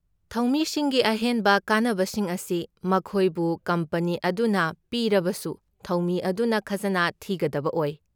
ꯊꯧꯃꯤꯁꯤꯡꯒꯤ ꯑꯍꯦꯟꯕ ꯀꯥꯟꯅꯕꯁꯤꯡ ꯑꯁꯤ ꯃꯈꯣꯏꯕꯨ ꯀꯝꯄꯅꯤ ꯑꯗꯨꯅ ꯄꯤꯔꯕꯁꯨ ꯊꯧꯃꯤ ꯑꯗꯨꯅ ꯈꯖꯅꯥ ꯊꯤꯒꯗꯕ ꯑꯣꯏ꯫